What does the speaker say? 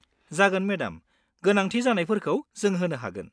जागोन मेडाम, गोनांथि जानायफोरखौ जों होनो हागोन।